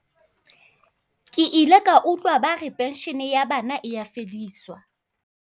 Ke ile ka utlwa ba re pension-e ya bana e ya fediswa.